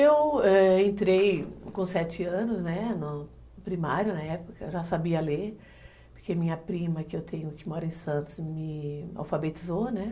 Eu, ãh, entrei com sete anos no primário, na época, já sabia ler, porque minha prima, que eu tenho, que mora em Santos, me alfabetizou, né